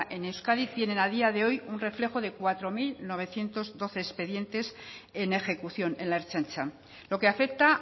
en euskadi tienen a día de hoy un reflejo de cuatro mil novecientos doce expedientes en ejecución en la ertzaintza lo que afecta